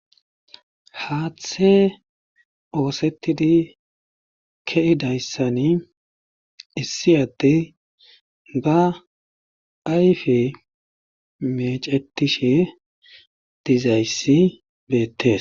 Haaththe oosetidi kiyida issani issi adde ba ayfe mecetishe diza issi beettes.